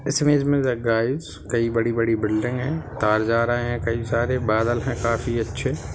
इस इमेज में गाइस कई बड़ी-बड़ी बिल्डिंग है। तार जा रहे है। काई सारे बादल हैं काफी अच्छे।